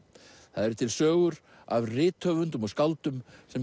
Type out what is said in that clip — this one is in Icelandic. það eru til sögur af rithöfundum og skáldum sem